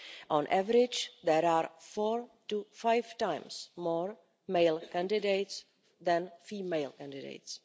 On average, there are four to five times more male candidates than female candidates.